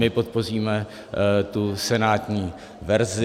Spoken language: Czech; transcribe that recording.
My podpoříme tu senátní verzi.